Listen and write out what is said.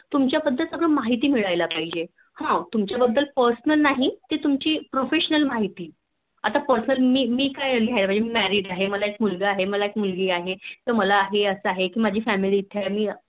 तुमच्या बद्दल सगळी माहिती मिळायला पाहिजे अह तुमच्या बद्दल Personal नाही ती तुमची Proffessonal माहिती. आता मी मी काय मी Married आहे मला एक मुलगा आहे मुलगी आहे मला हे असं आहे माझी Family इथे आहे